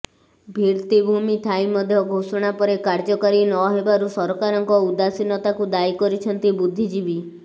ଭିର୍ତ୍ତିଭୂମି ଥାଇ ମଧ୍ୟ ଘୋଷଣା ପରେ କାର୍ଯ୍ୟକାରୀ ନହେବାରୁ ସରକାରଙ୍କ ଉଦାସୀନତାକୁ ଦାୟୀ କରିଛନ୍ତି ବୁଦ୍ଧିଜୀବୀ